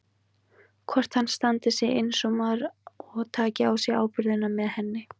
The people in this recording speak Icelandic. Hvort hann standi sig eins og maður og taki á sig ábyrgðina með henni.